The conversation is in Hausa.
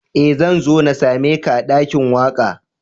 Eh, zan zo n'same ka a dakin waka.